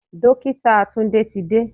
Dókítà Tunde ti dé.